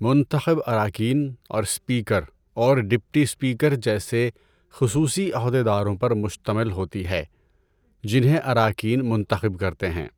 منتخب اراکین اور اسپیکر اور ڈپٹی اسپیکر جیسے خصوصی عہدیداروں پر مشتمل ہوتی ہے، جنہیں اراکین منتخب کرتے ہیں۔